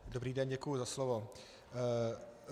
Dobrý den, děkuji za slovo.